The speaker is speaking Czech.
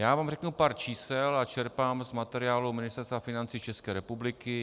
Já vám řeknu pár čísel a čerpám z materiálu Ministerstva financí České republiky.